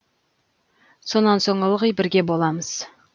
сонан соң ылғи бірге боламыз